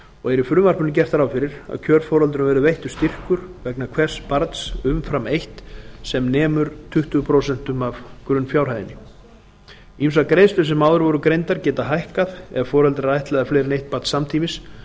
og er í frumvarpinu gert ráð fyrir að kjörforeldrum verði veittur styrkur vegna hvers barns umfram eitt sem nemur tuttugu prósent af grunnfjárhæðinni ýmsar greiðslur sem áður voru greindar geta hækkað ef foreldrar ættleiða fleiri en eitt barn samtímis